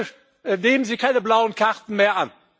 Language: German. Bitte nehmen Sie keine blauen Karten mehr an.